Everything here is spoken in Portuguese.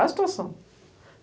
A situação.